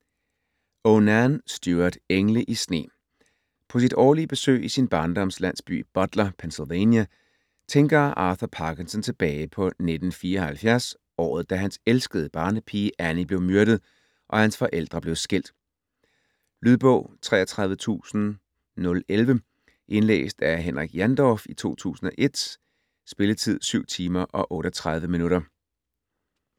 O'Nan, Stewart: Engle i sne På sit årlige besøg i sin barndoms landsby Butler, Pennsylvania, tænker Arthur Parkinson tilbage på 1974 - året da hans elskede barnepige Annie blev myrdet, og hans forældre blev skilt. Lydbog 33011 Indlæst af Henrik Jandorf, 2001. Spilletid: 7 timer, 38 minutter.